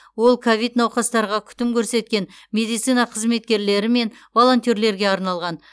ол ковид науқастарға күтім көрсеткен медицина қызметкерлері мен волонтерлерге арналған